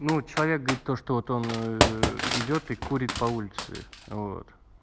ну человек говорит то что вот он ээ идёт и курит по улице вот